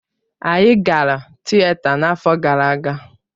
Anyị gara Tịeta n'afọ gara aga.